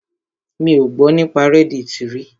Mi ò gbọ́ nípa reddit rí.